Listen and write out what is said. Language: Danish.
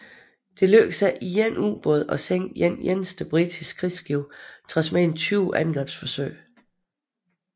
Det lykkedes ikke én ubåd at sænke et eneste britisk krigsskib trods mere end 20 angrebsforsøg